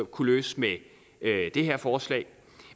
kunne løse med det her forslag